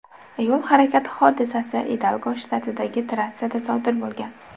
Yo‘l harakati hodisasi Idalgo shtatidagi trassada sodir bo‘lgan.